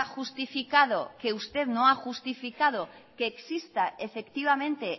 justificado que usted no ha justificado que exista efectivamente